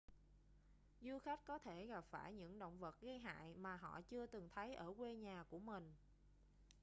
du khách có thể gặp phải những động vật gây hại mà họ chưa từng thấy ở quê nhà của mình